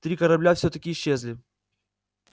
три корабля всё-таки исчезли